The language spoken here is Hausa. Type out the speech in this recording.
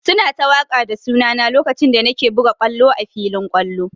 Su na ta waƙa da suna na lokacin da na ke buga ƙwallo a filin ƙwallo.